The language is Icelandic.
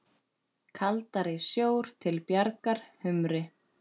Kaldari sjór til bjargar humri?